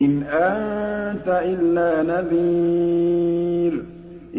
إِنْ أَنتَ إِلَّا نَذِيرٌ